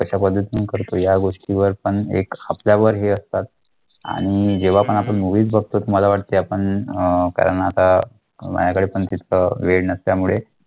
कश्या पद्धतीने करतो या गोष्टीवर पण एक आपल्यावर हे असतात आणि जेव्हा पण आपण movies बघतो मला वाटेत आपण कारण आता माझ्याकडे पण तितका वेळ नसल्यामुळे